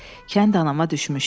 Kənd anama düşmüşdü.